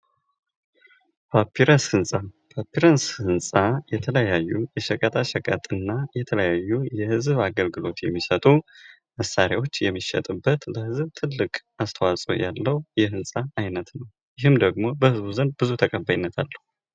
ስነ ህንጻ የተለያዩ ቁሳቁሶችን በጥበብ በመጠቀም ልዩ የሆኑ ውበት ያላቸውንና ዘላቂነት ያላቸውን ህንፃዎችን ይፈጥራል፤ ግንባታ ደግሞ እነዚህን ቁሳቁሶች በትክክለኛ መንገድ በመገጣጠም ጥንካሬን ያረጋግጣል